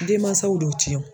Denmansaw dɔw ti yan o